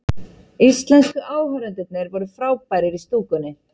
Íslensku áhorfendurnir voru frábærir í stúkunni